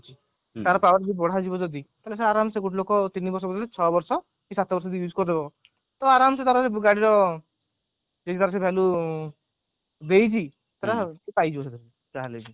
ତାର power ବି ବଢା ଯିବ ଯଦି ତାହେଲେ ସେ ଅରମସେ ଗୋଟେ ଲୋକ ତିନି ବର୍ଷ ଜାଗାରେ ଛଅ ବର୍ଷ କି ସାତ ବର୍ଷ ସେ ଇଉଜ କରିଦବ ତାହେଲେ ଆରମ ତାର ଗାଡି ର value ଦେଇକି ସେ ପାଇଯିବ ଯାହା ହେଲେ ବି